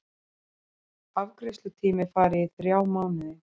Afgreiðslutími fari í þrjá mánuði